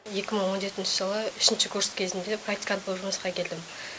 екі мың он жетінші жылы үшінші курс кезінде практикант болып жұмысқа келдім